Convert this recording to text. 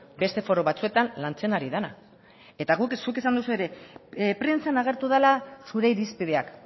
beste foru batzuetan lantzen ari dena eta zuk esan duzu ere prentsan agertu dela zure irizpideak